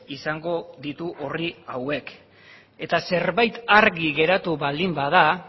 izango ditu orri hauek eta zerbait argi geratu baldin bada